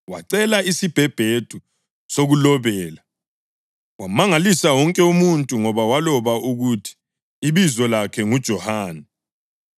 Wacela isibhebhedu sokulobela, wamangalisa wonke umuntu ngoba waloba ukuthi, “Ibizo lakhe nguJohane.”